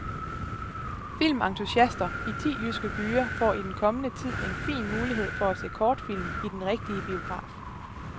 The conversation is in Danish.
Filmentusiaster i ti jyske byer får i den kommende tid en fin mulighed for at se kortfilm i den rigtige biograf.